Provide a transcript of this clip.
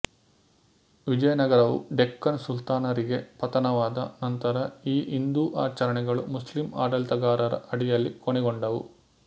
ವಿಜಯನಗರವು ಡೆಕ್ಕನ್ ಸುಲ್ತಾನರಿಗೆ ಪತನವಾದ ನಂತರ ಈ ಹಿಂದೂ ಆಚರಣೆಗಳು ಮುಸ್ಲಿಂ ಆಡಳಿತಗಾರರ ಅಡಿಯಲ್ಲಿ ಕೊನೆಗೊಂಡವು